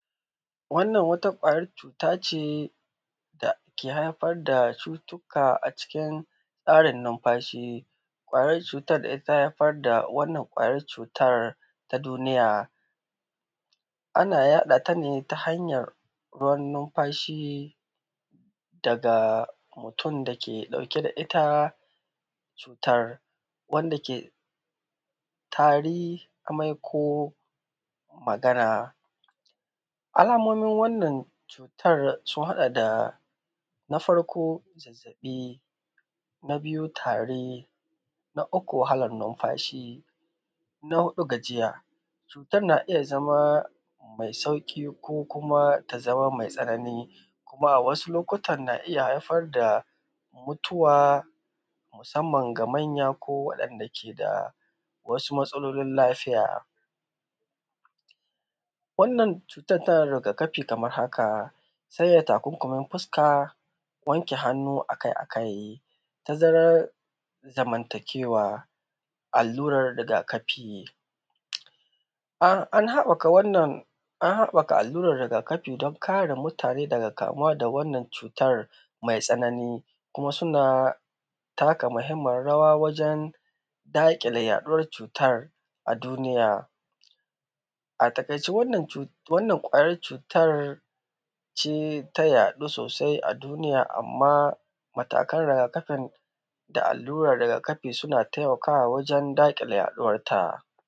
Wannan wata ƙwayar cuta ce dake haifar da cutuka acikin tsarin numfashi, ƙwayar cutar ita ta haifar da wannan ƙwayar cutar ta duniya. Ana yaɗa ta ne ta hanyar ruwan numfashi daga mutum dake ɗauke da ita cutar, wanda ke tari, amai ko Magana. Alamomin wannan cutar sun haɗa da; na farko zazzaɓi, na biyu tari, na uku wahalan numfashi, na huɗu gajiya. Cutar na iya zama mai sauƙi ko kuma ta zama mai tsanani, kuma a wasu lokutan na iya haifar da mutuwa musamman ga manya ko waɗanda ke da wasu matsalolin lafiya. Wannan cutar tana da riga kafi kamar haka; sanya takunkumin fuska, wanke hannu akai-akai, tazarar zamantakewa. Allurar rigakafi; an haɓaka allurar rigakafi don kare mutane daga kamuwa da wannan cutar mai tsanani, kuma suna taka muhimmiyar rawa wajen daƙile yaɗuwar cutar a duniya. A taƙaice wannan cut, wannan ƙwayar cutar ce ta yaɗu sosai a duniya, amma matakan rigakafin da allurar da allurar rigakafin suna taimakawa wajen daƙile yaɗuwan ta.